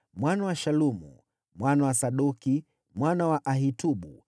mwana wa Shalumu, mwana wa Sadoki, mwana wa Ahitubu,